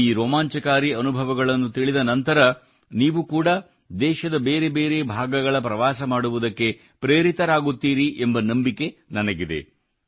ಈ ರೋಮಾಂಚನಕಾರಿ ಅನುಭವಗಳನ್ನು ತಿಳಿದ ನಂತರ ನೀವು ಕೂಡಾ ದೇಶದ ಬೇರೆ ಬೇರೆ ಭಾಗಗಳ ಪ್ರವಾಸ ಮಾಡುವುದಕ್ಕೆ ಪ್ರೇರಿತರಾಗುತ್ತೀರಿ ಎಂಬ ನಂಬಿಕೆ ನನಗಿದೆ